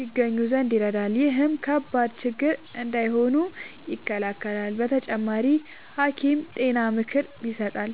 ይገኙ ዘንድ ይረዳል። ይህም ከባድ ችግር እንዳይሆኑ ይከላከላል። በተጨማሪ፣ ሐኪም ጤና ምክር ይሰጣል፣